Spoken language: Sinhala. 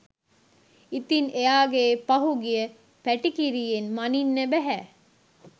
ඉතින් එයාගේ පහුගිය පැටිකිරියෙන් මනින්න බැහැ